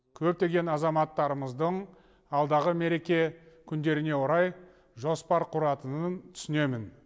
көптеген азаматтарымыздың алдағы мереке күндеріне орай жоспар құратынын түсінемін